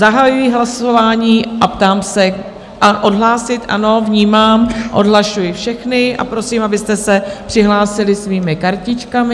Zahajuji hlasování a ptám se - odhlásit, ano, vnímám, odhlašuji všechny a prosím, abyste se přihlásili svými kartičkami.